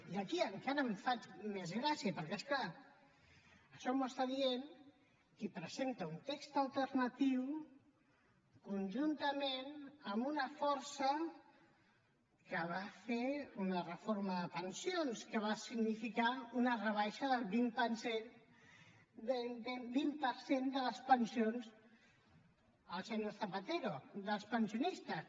i aquí encara em fa més gràcia perquè és clar això m’ho està dient qui presenta un text alternatiu conjuntament amb una força que va fer una reforma de les pensions que va significar una rebaixa del vint per cent de les pensions el senyor zapatero dels pensionistes